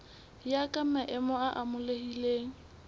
ya ka maemo a amohelehileng